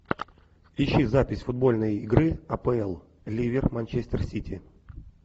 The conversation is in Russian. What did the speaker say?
ищи запись футбольной игры апл ливер манчестер сити